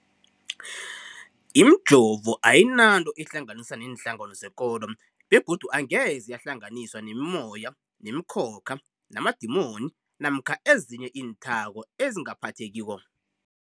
Imijovo ayinanto eyihlanganisa neenhlangano zekolo begodu angeze yahlanganiswa nemimoya, nemikhokha, namadimoni namkha ezinye iinthako ezingaphathekiko.